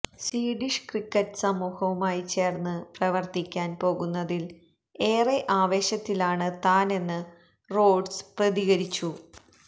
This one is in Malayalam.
സ്വീഡിഷ് ക്രിക്കറ്റ് സമൂഹവുമായി ചേർന്ന് പ്രവർത്തിക്കാൻ പോകുന്നതിൽ ഏറെ ആവേശത്തിലാണ് താനെന്ന് റോഡ്സ് പ്രതികരിച്ചു